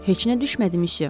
Heç nə düşmədi, myusyo.